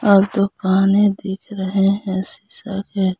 और दुकानें दिख रहे है शीशा के।